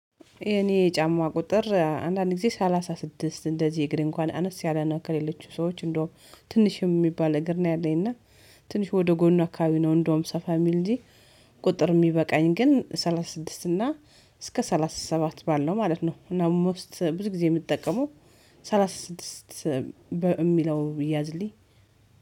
የኔ ጫማ ቁጥር አንዳንድ ጊዜ ሰላሳ ስድስት እንደዚህ እግር እንኳን አነስ ያለ ነው ከሌሎቹ ሰዎች እንደውም ትንሽ የሚባል እግር ነው ያለኝ እና ትንሽ ወደ ጎን አካባቢ ነው እንደውም ሰፋ የሚል እንጂ። ቁጥር የሚበቃኝ ግን ሰላሳ ስድስት እና እስከ ሰላሳ ሰባት ባለው ማለት ነው። እና ሞስት ብዙ ጊዜ የምጠቀመው ሰላሳ ስድስት የሚለው ቢያዝልኝ።